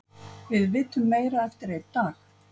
Við vitum meira eftir einn dag.